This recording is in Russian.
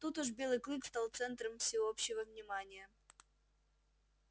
тут уж белый клык стал центром всеобщего внимания